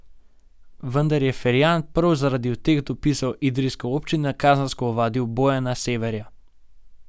Vendar je Ferjan prav zaradi teh dopisov idrijske občine kazensko ovadil Bojana Severja.